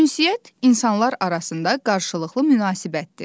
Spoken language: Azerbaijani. Ünsiyyət insanlar arasında qarşılıqlı münasibətdir.